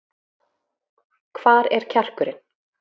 Hvar er kjarkurinn?